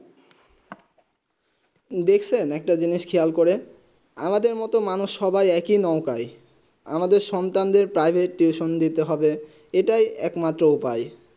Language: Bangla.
দেখছেন একটা জিনিস খেয়াল করে আমাদের মানুষ সবাই এক হয় নৌকায় আমদের সন্তানের প্রাইভেট টিউশন দিতে হবে আটাই এক মাত্র উপায়